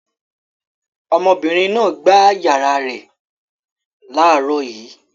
Ọmọbìnrin náà gbá ìyàrá rẹ̀ láàárọ̀ yìí.